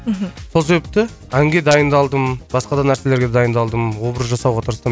мхм сол себепті әнге дайындалдым басқа да нәрселерге дайындалдым образ жасауға тырыстым